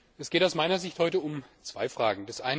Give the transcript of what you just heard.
Es geht aus meiner Sicht heute um zwei Fragen.